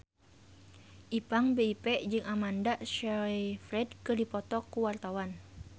Ipank BIP jeung Amanda Sayfried keur dipoto ku wartawan